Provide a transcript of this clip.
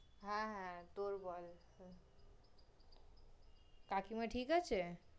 হ্যাঁ, হ্যাঁ, তোর বল কাকিমা ঠিক আছে?